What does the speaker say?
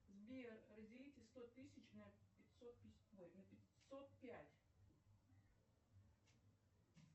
сбер разделите сто тысяч на пятьсот пять